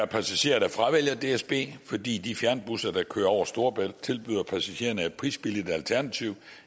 passagerer der fravælger dsb fordi de fjernbusser der kører over storebælt tilbyder passagererne et prisbilligt alternativ